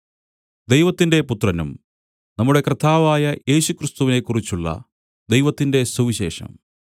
ദൈവത്തിന്റെ പുത്രനും നമ്മുടെ കർത്താവായ യേശുക്രിസ്തുവിനെക്കുറിച്ചുള്ള ദൈവത്തിന്റെ സുവിശേഷം